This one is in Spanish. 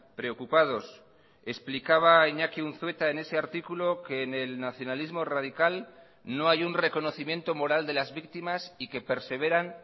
preocupados explicaba iñaki unzueta en ese artículo que en el nacionalismo radical no hay un reconocimiento moral de las víctimas y que perseveran